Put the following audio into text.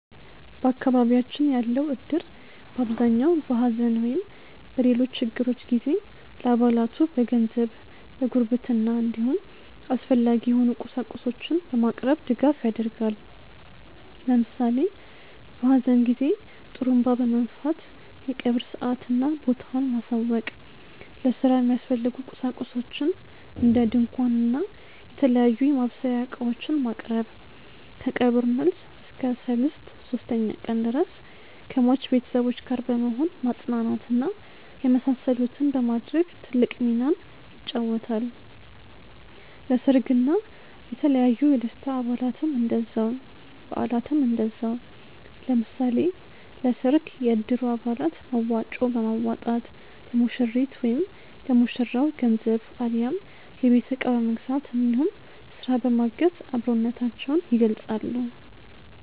በአካባቢያችን ያለው እድር በአብዛኛው በሐዘን ወይም በሌሎች ችግሮች ጊዜ ለአባላቱ በገንዘብ፣ በጉርብትና እንዲሁም አስፈላጊ የሆኑ ቁሳቁሶችን በማቅረብ ድጋፍ ያደርጋል። ለምሳሌ በሀዘን ጊዜ ጡሩንባ በመንፋት የቀብር ሰአትና ቦታውን ማሳወቅ፣ ለስራ የሚያስፈልጉ ቁሳቁሶችን እንደ ድንኳን እና የተለያዩ የማብሰያ እቃዎችን ማቅረብ፣ ከቀብር መልስ እስከ ሰልስት (ሶስተኛ ቀን) ድረስ ከሟች ቤተሰቦች ጋር በመሆን ማፅናናት እና የመሳሰሉትን በማድረግ ትልቅ ሚናን ይጫወታል። ለሰርግ እና የተለያዩ የደስታ በአላትም እንደዛው። ለምሳሌ ለሰርግ የእድሩ አባላት መዋጮ በማዋጣት ለሙሽሪት/ ለሙሽራው ገንዘብ አሊያም የቤት እቃ በመግዛት እንዲሁም ስራ በማገዝ አብሮነታቸውን ይገልፃሉ።